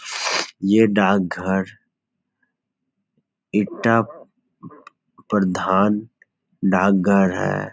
ये डाक घर इटाह प्रधान डाक घर है।